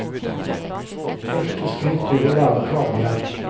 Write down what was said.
Første skritt blir å lære å krabbe igjen.